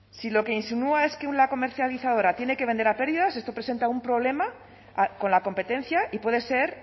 si lo que insinúa es que una comercializadora tiene que vender a pérdidas esto presenta un problema con la competencia y puede ser